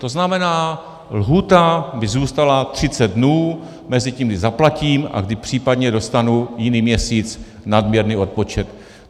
To znamená, lhůta by zůstala 30 dnů mezi tím, kdy zaplatím, a kdy případně dostanu jiný měsíc nadměrný odpočet.